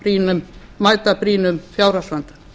til að mæta brýnum fjárhagsvanda